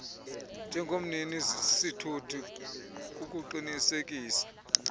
njengomnini sithuthi kukuqinisekisa